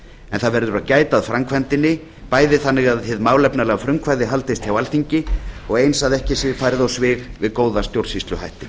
en það verður að gæta að framkvæmdinni bæði þannig að hið málefnalega frumkvæði haldist hjá alþingi og eins að ekki sé farið á svig við góða stjórnsýsluhætti